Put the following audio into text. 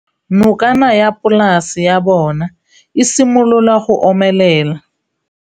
Nokana ya polase ya bona, e simolola go omelela.